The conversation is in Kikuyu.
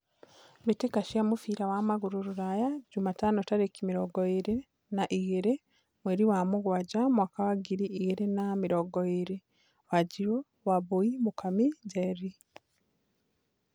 Mbĩ tĩ ka cia mũbira wa magũrũ Rũraya Jumatano tarĩ ki mĩ rongo ĩ rĩ na igĩ rĩ mweri wa mũgwanja mwaka wa ngiri igĩ rĩ na mĩ rongo ĩ rĩ : Wanjiru, Wambui, Mũkami, Njeri.